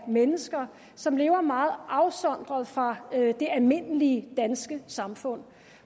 mennesker som lever meget afsondret fra det almindelige danske samfund